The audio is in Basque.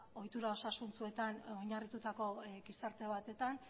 ohitura osasuntsuetan oinarritutako gizarte batetan